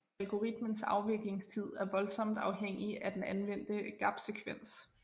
Algoritmens afviklingstid er voldsomt afhængig af den anvendte gapsekvens